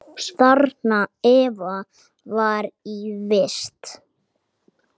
Þarna Eva var í vist.